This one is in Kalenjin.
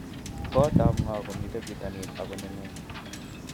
Kootab ngo komito bitonin ago nengung?